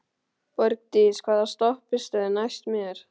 Borgdís, hvaða stoppistöð er næst mér?